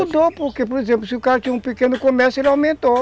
Mudou porque, por exemplo, se o cara tinha um pequeno comércio, ele aumentou.